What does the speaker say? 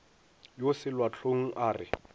yo selwa hlong a re